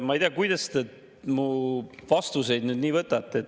Ma ei tea, kuidas te mu vastuseid nii võtate.